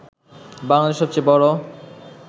বাংলাদেশের সবচেয়ে বড়